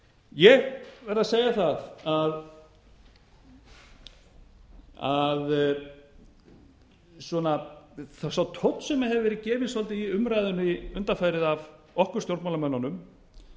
er unnt ég verð að segja það að sá tónn sem hefur verið gefinn svolítið í umræðunni undanfarið af okkur stjórnmálamönnunum